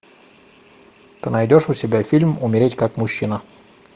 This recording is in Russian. ты найдешь у себя фильм умереть как мужчина